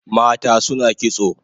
Mata suna kitso